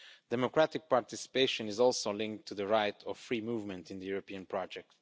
Democratic participation is also linked to the right of free movement in the European project.